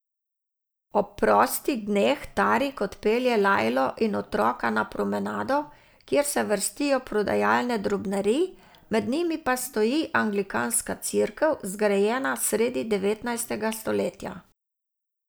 Ob prostih dneh Tarik odpelje Lajlo in otroka na Promenado, kjer se vrstijo prodajalne drobnarij, med njimi pa stoji anglikanska cerkev, zgrajena sredi devetnajstega stoletja.